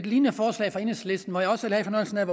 lignende forslag fra enhedslisten hvor jeg også havde fornøjelsen af